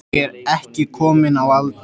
Ég er ekki komin á aldur.